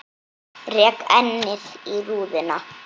Rek ennið í rúðuna.